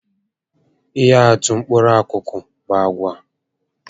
Ihe atụ mkpụrụ akụkụ bu àgwà